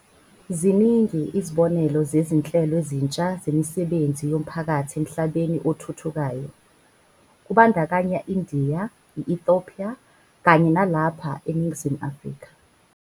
Ziningi izibonelo zezi nhlelo ezintsha zemisebenzi yomphakathi emhlabeni othuthukayo, kubandakanya i-India, i-Ethopia kanye nalapha eNingizimu Afrika.